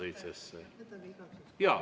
Võtan igaks juhuks lisaaega ka.